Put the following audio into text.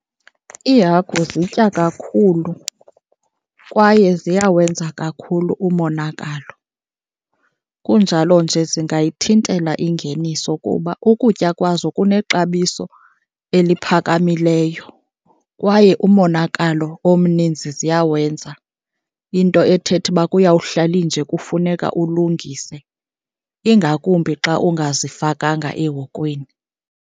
Iihagu zitya kakhulu kwaye ziyawenza kakhulu umonakalo, kunjalo nje zingayithintela ingeniso kuba ukutya kwazo kunexabiso eliphakamileyo kwaye umonakalo omninzi ziyawenza. Into ethetha uba kuyawuhlalinje kufuneka ulungise, ingakumbi xa ungazifakanga ehokweni.